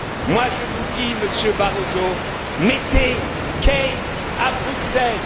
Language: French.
Moi je vous dis, Monsieur Barroso, mettez Keynes à Bruxelles.